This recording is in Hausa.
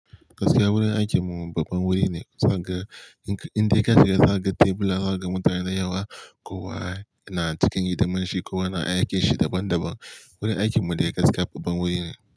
Gaskiya wurin aikin mu babban wuri ne. Za ka ga indai ka shiga, za ka ga tebula, ka ga mutane da yawa, kowa na cikin hidiman shi, kowa na aikin shi daban daban. Wurin aikin mu dai gaskiya babban wuri ne.